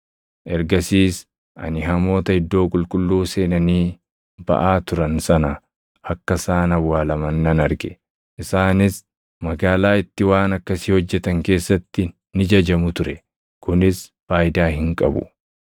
Ergasiis ani hamoota iddoo qulqulluu seenanii baʼaa turan sana akka isaan awwaalaman nan arge; isaanis magaalaa itti waan akkasii hojjetan keessatti ni jajamu ture. Kunis faayidaa hin qabu.